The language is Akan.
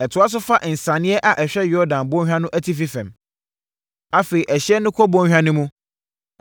Ɛtoa so fa nsianeɛ a ɛhwɛ Yordan Bɔnhwa no atifi fam. Afei ɛhyeɛ no kɔ bɔnhwa no mu,